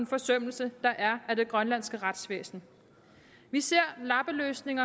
forsømmelser der er af det grønlandske retsvæsen vi ser lappeløsning